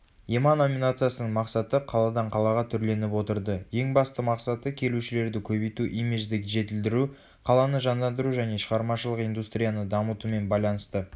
ема номинациясының мақсаты қаладан қалаға түрленіп отырды ең басты мақсаты келушілерді көбейту имиджді жетілдіру қаланы жандандыру және шығармашылық индустрияны дамытумен байланысты